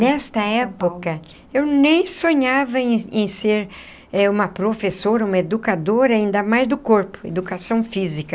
Nesta época, eu nem sonhava em em ser uma professora, uma educadora, ainda mais do corpo, educação física.